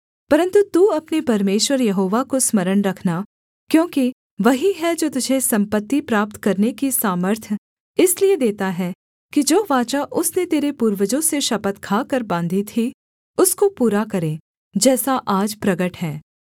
परन्तु तू अपने परमेश्वर यहोवा को स्मरण रखना क्योंकि वही है जो तुझे सम्पत्ति प्राप्त करने की सामर्थ्य इसलिए देता है कि जो वाचा उसने तेरे पूर्वजों से शपथ खाकर बाँधी थी उसको पूरा करे जैसा आज प्रगट है